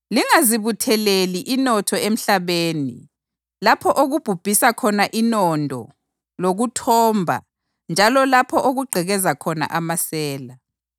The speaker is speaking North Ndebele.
“Lingazibutheleli inotho emhlabeni lapho okubhubhisa khona inondo lokuthomba njalo lapho okugqekeza khona amasela.